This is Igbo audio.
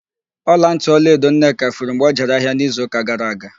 Ọlantị ọlaedo Nneka furu mgbe ọ jere ahịa n'izuụ́kà gara aga.